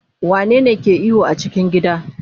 wane ne ke ihu a cikin gida?